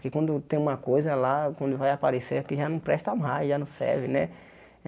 que quando tem uma coisa lá, quando vai aparecer, que já não presta mais, já não serve, né?